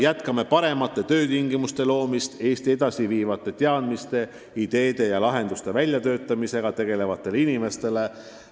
Jätkame paremate töötingimuste loomist Eestit edasi viivate teadmiste, ideede ja lahenduste väljatöötamisega tegelevatele inimestele.